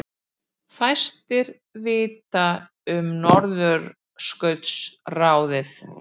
Fæstir vita um Norðurskautsráðið